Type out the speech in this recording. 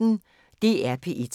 DR P1